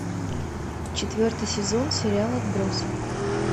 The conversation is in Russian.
четвертый сезон сериал отбросы